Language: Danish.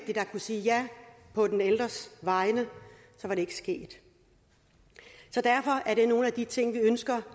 der kunne sige ja på den ældres vegne var det ikke sket derfor er det nogle af de ting vi ønsker